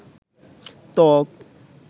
ত্বক